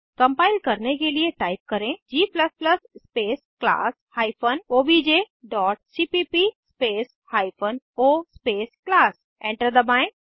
compile करने के लिए टाइप करें g space class hyphen OBJ dot cpp space hyphen O space class enter दबाएं